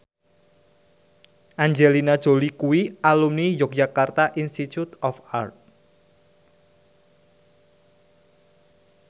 Angelina Jolie kuwi alumni Yogyakarta Institute of Art